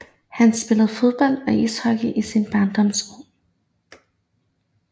Han spillede fodbold og ishockey i sine barndomsår